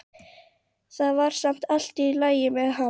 Það var samt allt í lagi með hann.